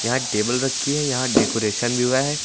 यहां टेबल रखी है यहां डेकोरेशन भी हुआ है।